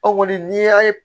Anw kɔni n'i y'a ye